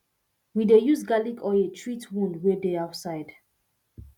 we dey use garlic oil treat wound wey dey outside